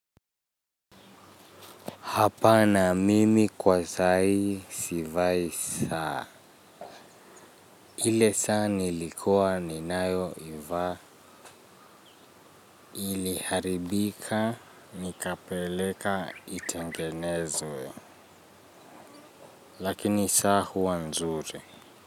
Hapana mimi kwa sahi sivai saa ile saa nilikuwa ninayoivaa iliharibika nikapeleka itengenezwe. Lakini saa huwa nzuri.